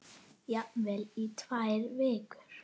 Jafnvel í tvær vikur.